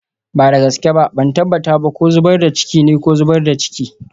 Ba da gaske ba, ban tabbata ba ko zubar da ciki ne ko zubar da ciki.